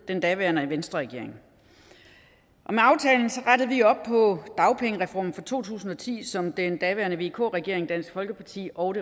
den daværende venstreregering med aftalen rettede vi op på dagpengereformen fra to tusind og ti som den daværende vk regering dansk folkeparti og